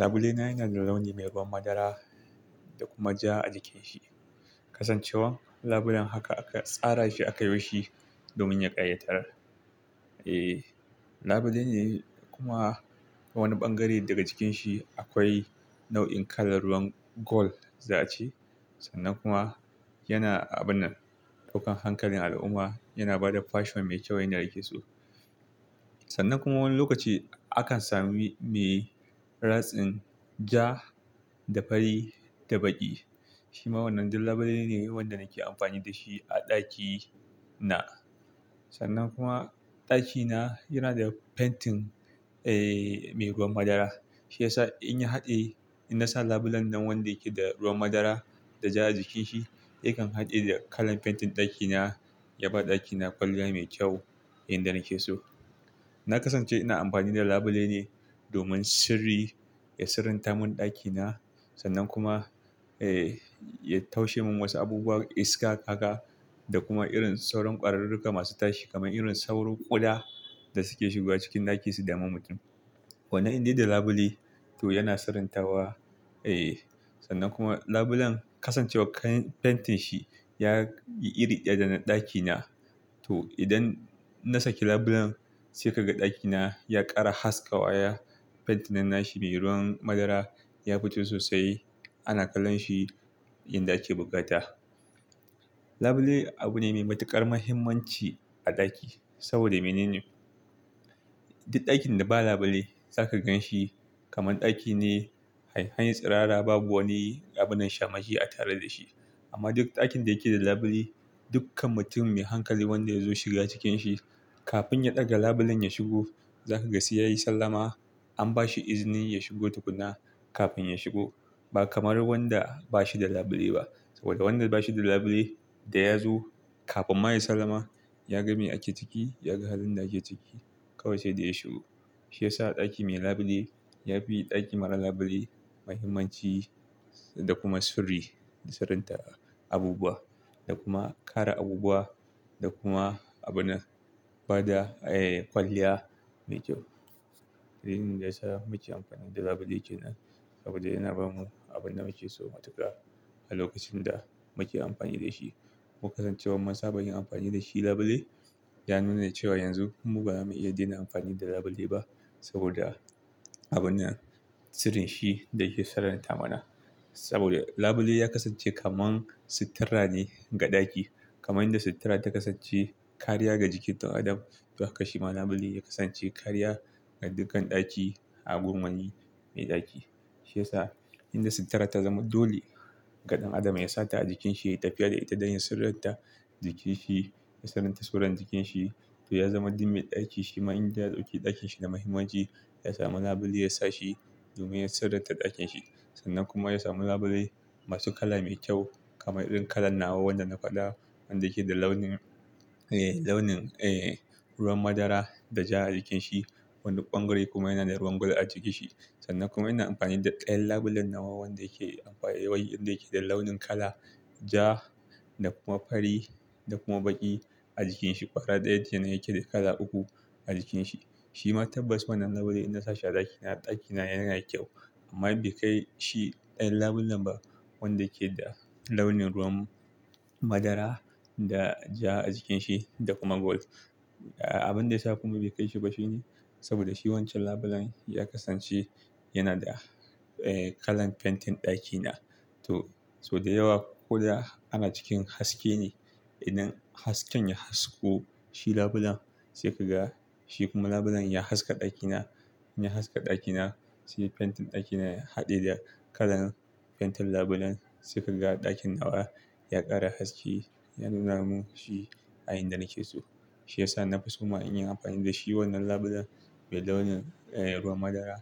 Labule na yana da launi mai ruwan madara da kuma ja a jikinshi. Kasancewar labulen haka, aka tsara shi aka yo shi domin ya ƙayatar. Eh, labule ne kuma a wani bangare daga jikin shi akwai nau'in kalar ruwan gold za a ce. Sannan kuma yana, abun nan ɗaukan hankalin al'umma, yana ba da fashion mai kyau yanda na ke so. Sannan kuma wani lokaci akan sami mai ratsin ja da fari da baƙi. Shi ma wannan duk labule ne, wanda na ke amfani da shi a ɗaki na. Sannan kuma ɗaki na yana da fentin, eh, mai ruwan madara. Shi ya sa in ya haɗe, in na sa labulen nan wanda yake da ruwan madara da ja a jikinsa, yakan haɗe da kalan fentin ɗaki na, ya ba ɗaki na kwalliya mai kyau inda na ke so. Na kasance ina amfani da labule ne domin sirri, ya sirrantamin ɗaki na sannan kuma, eh, ya taushe min wasu abubuwa iska, haka da kuma irin sauran ƙwararruka masu tashi kamar irin sauran ƙuda da suke shigowa cikin ɗaki su dami mutum. Wannan indai da labule to yana sirrantawa, eh, sannan kuma labulan kasancewar kayan fentin shi ya yi iri ɗaya da na ɗaki na, to idan na saki labulan sai ka ga ɗaki na ya ƙara haskawa. Fentin nan na shi mai ruwan madara ya fito sosai, ana kallon shi inda ake bukata. Labule abu ne mai matuƙar muhimmanci a ɗaki saboda menene, duk ɗakin da ba labule zaka gan shi kamar ɗaki ne, anyi tsirara babu wani abunnan shamaki a tare da shi. Amma duk ɗakin da yake da labule, dukkan mutum mai hankali wanda ya zo shiga cikin shi, kafin ya ɗaga labulan ya shigo, za ka ga sai ya yi sallama, an ba shi izini ya shigo tukunna kafin ya shigo. Ba kamar wanda ba shi da labule ba. Saboda wanda ba shi da labule da ya zo kafin ma ya sallama, ya ga me ake ciki, ya ga halin da ake ciki kawai sai da ya shigo. Shi ya sa ɗaki mai labule ya fi ɗaki marar labule muhimmanci da kuma sirri, sirrinta abubuwa da kuma kare abubuwa da kuma abu na, bada, eh, kwalliya mai kyau. Abinda yasa muke amfani da labule kenan saboda yana bamu abin da muke so matuka a lokacin da muke amfani da shi. Ko kasancewar mun saba yin amfani da shi labule, ya nuna cewa yanzu mu ba ma iya dena amfani da labule ba saboda abun nan, sirrin shi da yake sirrin tamana. Saboda labule ya kasance kaman suttura ne ga ɗaki. Kaman yadda sutura ta kasance kariya ga jikin ɗan adam, to haka shi ma labule ya kasance kariya ga dukkan ɗaki a gun wani mai ɗaki. Shi ya sa inda sutura ta zama dole ga ɗan adam ya sa ta a jikin shi, yai tafiya da ita don ya sirranta jikin shi, ya sirrinta surar jikin shi, to ya zama duk mai ɗaki shi ma in ya ɗauki ɗakin shi na muhimmanci, ya samu labule ya sa shi domin ya sirranta ɗakin shi. Sannan kuma ya samu labule masu kala mai kyau kamar irin kalan nawa wanda na faɗa, wanda yake da launin, eh, launin, eh, ruwan madara da ja a jikin shi. Wani bangare kuma yana da ruwan gold a jikin shi. Sannan kuma ina amfani da ɗayan labulen nawa wanda yake amfani, wanda yake da launin kala ja da kuma fari da kuma baƙi a jikin shi. Ƙwara daya kenan yake da kala uku a jikin shi. Shi ma tabbas wannan labule inna sashi a ɗaki na, ɗaki na yana yi kyau amma bai kai shi ɗayan labulen ba wanda ke da launin ruwan madara da ja a jikin shi da kuma gold. Abin da ya sa kuma bai kai shi ba shi ne saboda shi wancan labulen ya kasance yana da, eh, kalan fentin ɗaki na. To, so da yawa ƙuda ana cikin haske ne. Idan hasken ya hasko, shi labulen sai ka ga, shi kuma labulen ya haska ɗaki na, ya haska ɗaki na, sai fentin ɗaki na ya haɗe da kalan fentin labulen sai ka ga ɗakin nawa ya ƙara haske, ya nuna mun shi a inda na ke so. Shi ya sa na fi somma inyi amfani da shi wannan labulen mai launin, eh, ruwan madara